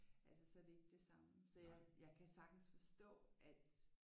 Altså så er det ikke samme så jeg kan sagtens forstå at